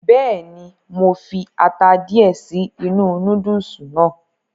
Bẹ́ẹ̀ni, mo fi ata díẹ̀ sí inú núdùùsì náà.